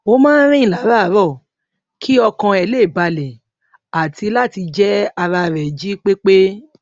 ó máa ń rìn láràárọ kí ọkàn ẹ lè balè àti láti jẹ ara rè jí pé pé